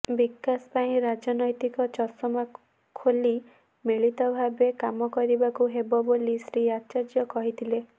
ବିକାଶ ପାଇଁ ରାଜନ୘ତିକ ଚଷମା ଖୋଲି ମିଳିତ ଭାବେ କାମ କରିବାକୁ ହେବ ବୋଲି ଶ୍ରୀ ଆଚାର୍ଯ୍ୟ କହିଥିଲେ